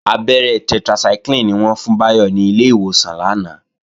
Abẹ́rẹ́ tetracycline ni wọ́n fún Báyọ̀ ní ilé ìwòsàn lánàá